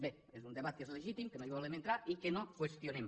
bé és un debat que és legítim que no hi volem entrar i que no qüestionem